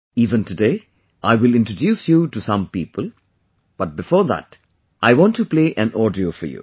Even today I will introduce you to some such people, but before that I want to play an audio for you